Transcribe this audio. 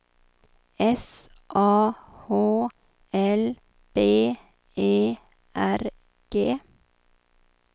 S A H L B E R G